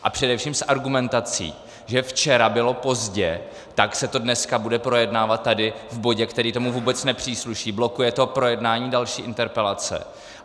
A především s argumentací, že včera bylo pozdě, tak se to dneska bude projednávat tady v bodě, který tomu vůbec nepřísluší, blokuje to projednání další interpelace.